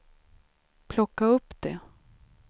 plocka upp det